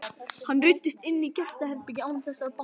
Hann ruddist inn í gestaherbergið án þess að banka.